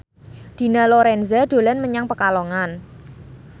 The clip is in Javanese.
Dina Lorenza dolan menyang Pekalongan